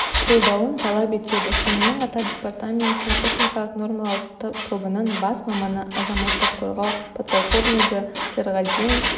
қолдауын талап етеді сонымен қатар департаменттің техникалық нормалау тобының бас маманы азаматтық қорғау подполковнигі серғазинов